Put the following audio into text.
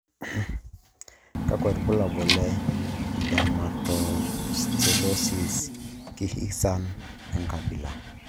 Kakwa ibulabul le Dermatoosteolysis kirghizian enkabila?